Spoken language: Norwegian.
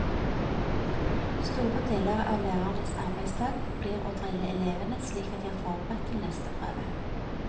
Store deler av lærernes arbeidsdag blir å drille elevene slik at de er forberedt til neste prøve.